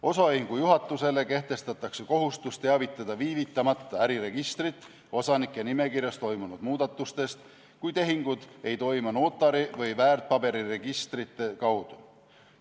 Osaühingu juhatusele kehtestatakse kohustus teavitada viivitamata äriregistrit osanike nimekirjas toimunud muudatustest, kui tehingud ei toimu notari või väärtpaberiregistrite kaudu.